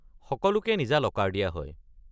সকলোকে নিজা লকাৰ দিয়া হয়।